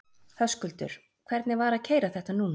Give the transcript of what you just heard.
Höskuldur: Hvernig var að keyra þetta núna?